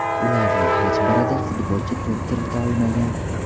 Ularning hech birida futbolchi to‘p kirita olmagan.